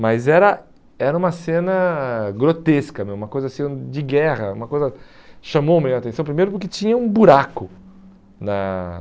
Mas era era uma cena grotesca mesmo, uma coisa assim de guerra, uma coisa... Chamou a minha atenção primeiro porque tinha um buraco na